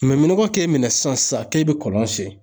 nɔgɔ k'e minɛ sisan sisan k'e bi kɔlɔn sen.